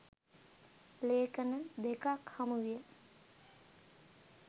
ලේඛන දෙකක් හමුවිය.